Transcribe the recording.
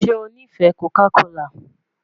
Ṣe o nifẹ Coca kola?